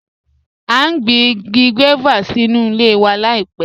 A n gbìn igi guávà sí nú ilẹ̀ wa laipẹ̀